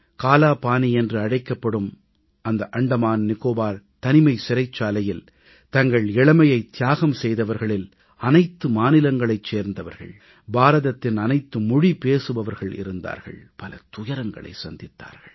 காலாபானி என்று அழைக்கப்படும் இந்த அந்தமான் நிக்கோபார் தனிமைச் சிறைச்சாலையில் தங்கள் இளமையை தியாகம் செய்தவர்களில் அனைத்து மாநிலங்களைச் சேர்ந்தவர்கள் பாரதத்தின் அனைத்து மொழி பேசுபவர்கள் இருந்தார்கள் பல துயரங்களைச் சந்தித்தார்கள்